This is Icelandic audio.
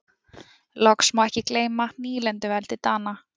Loks má ekki gleyma nýlenduveldi Dana.